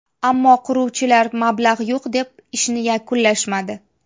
Ammo quruvchilar mablag‘ yo‘q, deb ishni yakunlashmadi.